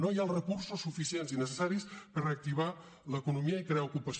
no hi ha els recursos suficients i necessaris per reactivar l’economia i crear ocupació